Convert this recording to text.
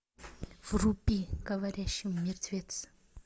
вруби говорящий мертвец